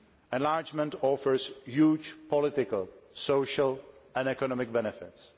Enlargement offers huge political, social and economic benefits.